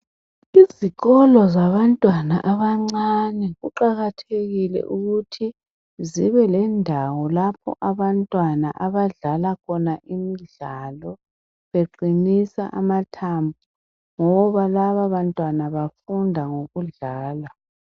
Izikolo zabantwana abancane kuqakathekile ukuthi zibe lendawo lapho abantwana abadlala khona imidlalo beqinisa amathambo ngoba laba bantwana bafunda ngokudlala